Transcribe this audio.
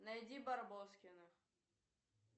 найди барбоскиных